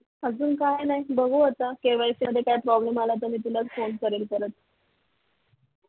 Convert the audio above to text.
अजून काय नाही बघू आता KYC मध्ये काय problem आला तर मी तुला फोन करेल परत